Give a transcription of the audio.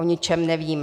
O ničem nevím.